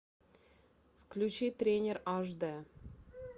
включи тренер аш д